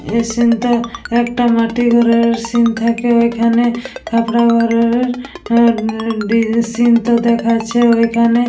এই সিন্ টা একটা মাটির ঘরের সিন্ থাকে ঐখানে থাকরা ঘরের সিন্ টো দেখাচ্ছে ঐখানে।